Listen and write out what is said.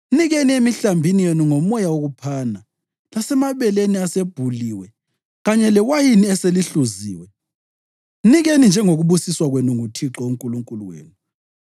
Mnikeni emihlambini yenu ngomoya wokuphana, lasemabeleni asebhuliwe kanye lewayini eselihluziwe. Mnikeni njengokubusiswa kwenu nguThixo uNkulunkulu wenu.